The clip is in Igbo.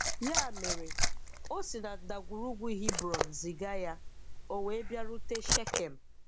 Ya mere, o si na ndagwurugwu Hebron ziga ya, ọ wee bịarute Shekem